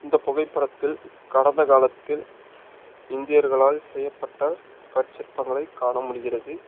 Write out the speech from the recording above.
இந்த புகைப்படத்தில் கடந்த காலத்தில் இந்தியர்களால் செய்யப்பட்ட கற்ச்சிற்பங்களை காண முடிகிறது.